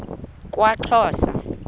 kwaxhosa